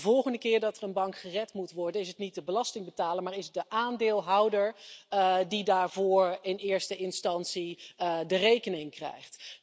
Dus de volgende keer dat er een bank gered moet worden, is het niet de belastingbetaler, maar de aandeelhouder die daarvoor in eerste instantie de rekening krijgt.